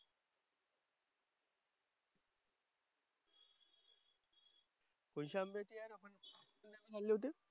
कोणते आंबे काय खाल्ले होते?